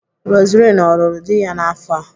Roseline ọ lụrụ di ya n'afọ a?